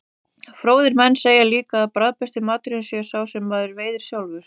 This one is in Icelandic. Fróðir menn segja líka að bragðbesti maturinn sé sá sem maður veiðir sjálfur.